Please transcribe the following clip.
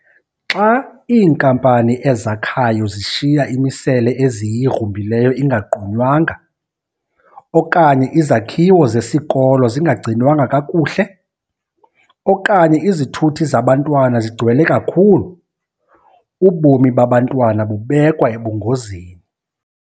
Xa iinkampani ezakhayo zishiya imisele eziyigrumbileyo ingagqunywanga okanye izakhiwo zesikolo zingagcinwanga kakuhle okanye izithuthi zabantwana zigcwele kakhulu, ubomi babantwana bubekwa ebungozini.